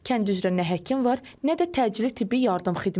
Kənd üzrə nə həkim var, nə də təcili tibbi yardım xidməti.